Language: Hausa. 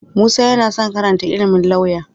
Musa yana son karanta ilimin lauya.